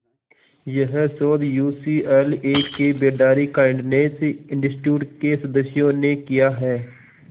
यह शोध यूसीएलए के बेडारी काइंडनेस इंस्टीट्यूट के सदस्यों ने किया है